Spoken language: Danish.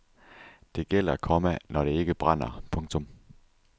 Det gælder, komma når det ikke brænder. punktum